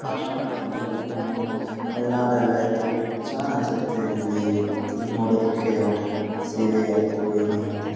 ಅಶನೊಟ್ ಅನ್ನತಾರೆ ಮಾಮೂಲಿ ಹೋಳನಾಡ್ ಎಲ್ಲಾ ಇತ್ತು ಲೈಕ್ ಚನ್ನಾಗಿ ಅನ್ನ್ಸುತ್ತೆ ಇಲ್ಲಿ ಇಲ್ಲಿ ನೋಡೋದಕ್ಕೆ ಒಂದ್ ಟೈಪ್ ಸೇವೆ ಆಯಿತ್ತು ಏನೆ ಆಯಿತ್ತು .